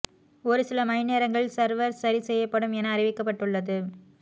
ஒரு சில மணி நேரங்களில் சர்வர் சரி செய்யப்படும் என அறிவிக்கப்பட்டுள்ளது